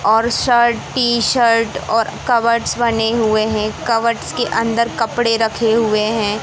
और shirt T- shirt और cupboards बने हुए हैं कबर्ड्स के अंदर कपड़े रखे हुए हैं।